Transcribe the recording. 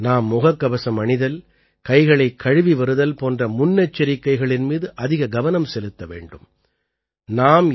ஆகையால் நாம் முககவசம் அணிதல் கைகளைக் கழுவி வருதல் போன்ற முன்னெச்சரிக்கைகளின் மீது அதிக கவனம் செலுத்த வேண்டும்